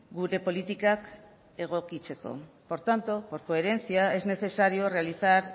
gure politikak egokitzeko por tanto por coherencia es necesario realizar